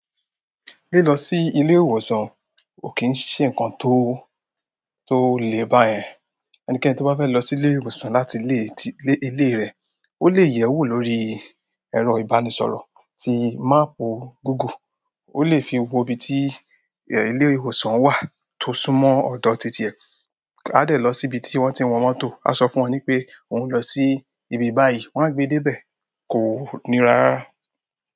Lilo si ile ìwòsàn ko ki se nǹkan to to le bayen ẹnikẹ́ni tó bá fẹ́ lọ sí ilé ìwòsàn láti ilé, tí, ilé rẹ̀, ó lè yẹ̀wò lórí ẹ̀rọ-ìbánisọ̀rọ̀ tí máàpù Google. Ko le fi ibi ti ile ìwòsàn wa to súnmọ́ odo ti tie. A dè lọ sí ibi tí wọ́n ti ń wọ mọ́tò, a sọ fún wọn pé òun ń lọ sí ibi báyìí, wọ́n á gbé dé ibẹ̀, kò ní rá rárá.